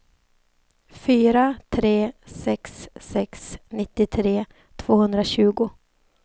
fyra tre sex sex nittiotre tvåhundratjugo